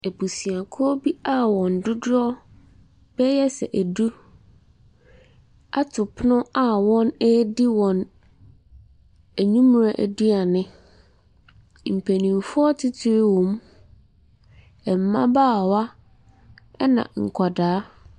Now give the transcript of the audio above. Abusuakuo bi a wɔn dodoɔ bɛyɛ sɛ ɛdu ato pono a wɔredi wɔn awimerɛ aduane. Mpanimfoɔ etitiri wɔm, mbabaawa ɛna nkwadaa.